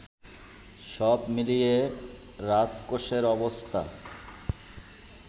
সব মিলিয়ে রাজকোষের অবস্থা